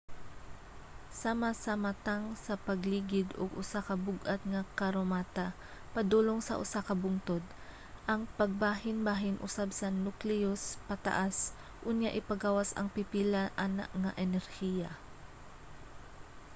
sama sa matang sa pagligid og usa ka bug-at nga karomata padulong sa usa ka bungtod. ang pagbahinbahin usab sa nukleus pataas unya ipagawas ang pipila ana nga enerhiya